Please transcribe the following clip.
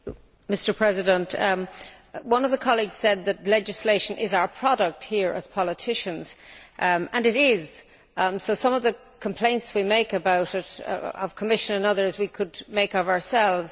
Mr President, one of the colleagues said that legislation is our product here as politicians, and it is, so some of the complaints we make about it to the Commission and others, we could make about ourselves.